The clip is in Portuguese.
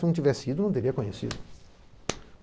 Se não tivesse ido, não teria conhecido.